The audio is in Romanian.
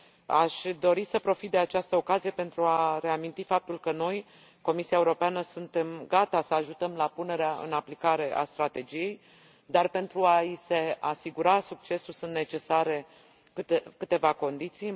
Aș dori să profit de această ocazie pentru a reaminti faptul că noi, Comisia Europeană, suntem gata să ajutăm la punerea în aplicare a strategiei, dar, pentru a i se asigura succesul, sunt necesare câteva condiții.